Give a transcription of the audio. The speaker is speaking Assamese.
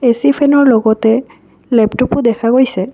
এ_চি ফেনৰ লগতে লেপটপো দেখা গৈছে।